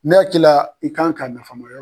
Ne hakili la i k'an ka nafamaya